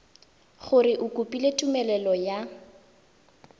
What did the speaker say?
gore o kopile tumelelo ya